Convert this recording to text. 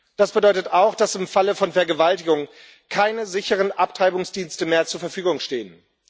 Das bedeutet auch, dass im Falle von Vergewaltigung keine sicheren Abtreibungsdienste mehr zur Verfügung stehen.